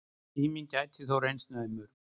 Tíminn gæti þó reynst naumur.